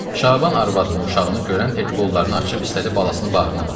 Şaban arvadını, uşağını görən tək qollarını açıb istədi balasını bağrına bassın.